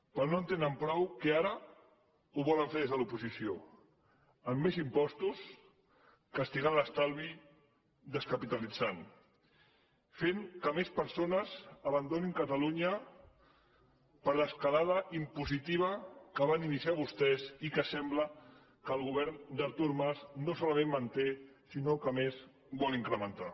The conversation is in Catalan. però com que no en tenen prou ara ho volen fer des de l’oposició amb més impostos castigant l’estalvi descapitalitzant fent que més persones abandonin catalunya per l’escalada impositiva que van iniciar vostès i que sembla que el govern d’artur mas no solament manté sinó que a més vol incrementar